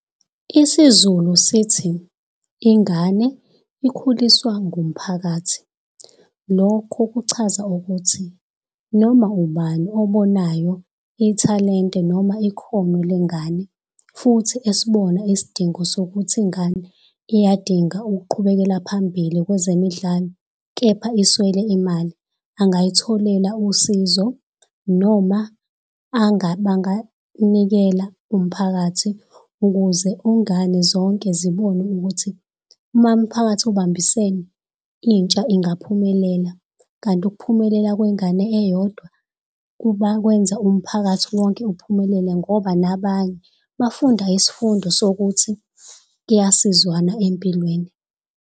IsiZulu sithi, ingane ikhuliswa ngumphakathi. Lokho kuchaza ukuthi noma ubani obonayo ithalente noma ikhono lengane, futhi esibona isidingo sokuthi ingane iyadinga ukuqhubekela phambili kwezemidlalo, kepha iswele imali, angayitholela usizo noma banganikela umphakathi. Ukuze zonke zibone ukuthi, uma umphakathi ubambisene, intsha ingaphumelela. Kanti ukuphumelela kwengane eyodwa, kwenza umphakathi wonke uphumelele ngoba nabanye bafunda isifundo sokuthi kuyasizwanwa empilweni.